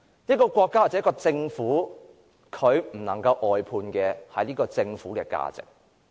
一個國家或政府絕不能外判政府的價值。